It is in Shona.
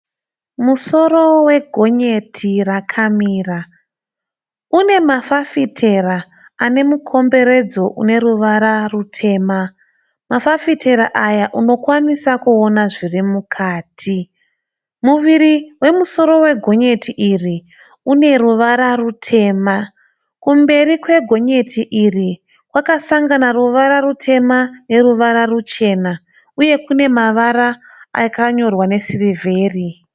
Musoro wegonyeti rakamira une mafafitera ane mukomberedzo une ruvara rutema. Mafafitera aya unokwanisa kuona zviri mukati. Muviri wemusoro wegonyeti iri une ruvara rutema. Kumberi kwegonyeti iri kwakasanga ruvara rutema neruvara ruchena uye mavara akanyorwa nesirivheri.